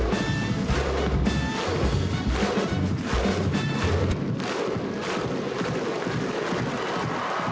var